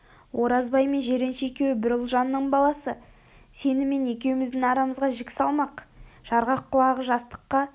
оразбай мен жиренше екеуі бір ұлжанның баласы сені мен екеуміздің арамызға жік салмақ жарғақ құлағы жастыққа